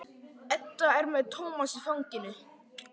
Edda er með Tómas í fanginu.